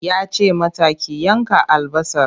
Ya ce mata ki yanka albasar!